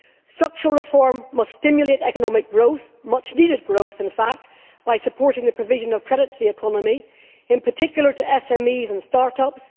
Structural reform must stimulate economic growth much needed growth in fact by supporting the provision of credit to the economy, in particular to SMEs and start ups